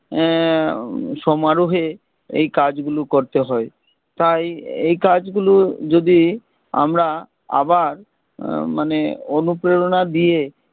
আহ সমারোহে এই কাজ গুলো করতে হয় তাই এই কাজ গুলো যদি আমরা আবার উম মানে অনুপ্রেরণা দিয়ে